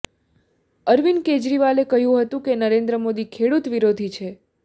અરવિંદ કેજરીવાલે કહ્યું હતું કે નરેન્દ્ર મોદી ખેડૂત વિરોધી છે